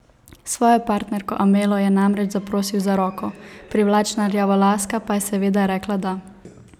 Svojo partnerko Amelo je namreč zaprosil za roko, privlačna rjavolaska pa je seveda rekla da!